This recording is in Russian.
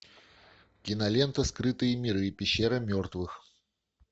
кинолента скрытые миры пещера мертвых